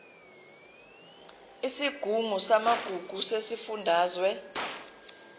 isigungu samagugu sesifundazwe